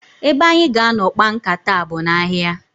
Ebe anyị ga-anọ kpaa nkata a bụ n'ahịa.